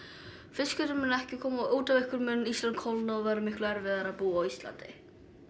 fiskurinn mun ekki koma og út af einhverju mun Ísland kólna og verða miklu erfiðara að búa á Íslandi